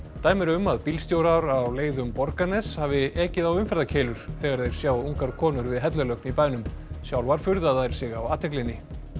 dæmi eru um að bílstjórar á leið um Borgarnes hafi ekið á umferðarkeilur þegar þeir sjá ungar konur við hellulögn í bænum sjálfar furða þær sig á athyglinni